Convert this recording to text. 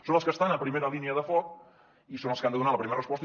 són els que estan a primera línia de foc i són els que han de donar la primera resposta